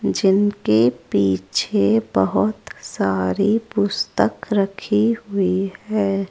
जिनके पीछे बहोत सारी पुस्तक रखी हुई है।